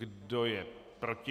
Kdo je proti?